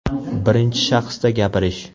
Birinchi shaxsda gapirish .